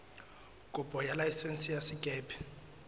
kopo ya laesense ya sekepe